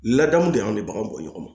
Ladamu de y'an de baganw bɔ ɲɔgɔn ma